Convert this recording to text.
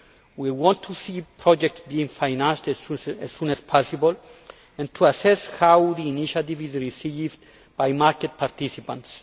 We want to see projects being financed as soon as possible and to assess how the initiative is received by market participants.